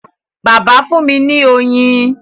bàbà fún mí ní oyin.